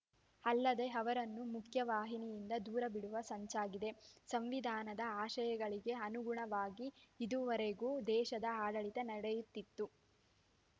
ಅಲ್ಲದೇ ಅವರನ್ನು ಮುಖ್ಯವಾಹಿನಿಯಿಂದ ದೂರ ಬಿಡುವ ಸಂಚಾಗಿದೆ ಸಂವಿಧಾನದ ಆಶಯಗಳಿಗೆ ಅನುಗುಣವಾಗಿ ಇದುವರೆಗೂ ದೇಶದ ಆಡಳಿತ ನಡೆಯುತ್ತಿತ್ತು